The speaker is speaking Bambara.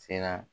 Sera